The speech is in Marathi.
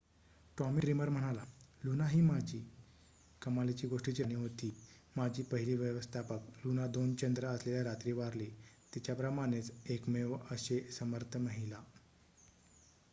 "टॉमी ड्रीमर म्हणाला लुना ही कमालीच्या गोष्टीची राणी होती. माझी पहिली व्यवस्थापक. लुना 2 चंद्र असलेल्या रात्री वारली. तिच्याप्रमाणेच एकमेव अशे. समर्थ महिला"